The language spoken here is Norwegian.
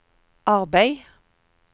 arbeid